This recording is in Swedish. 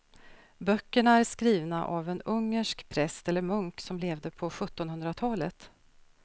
Böckerna är skrivna av en ungersk präst eller munk som levde på sjuttonhundratalet.